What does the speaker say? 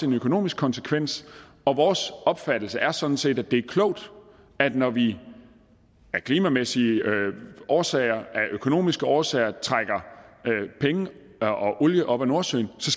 en økonomisk konsekvens og vores opfattelse er sådan set at det er klogt når vi af klimamæssige årsager af økonomiske årsager trækker penge og og olie op af nordsøen så